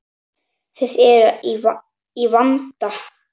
Þið eruð í vanda.